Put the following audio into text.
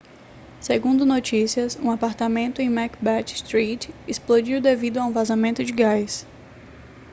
segundo notícias um apartamento em macbeth street explodiu devido a um vazamento de gás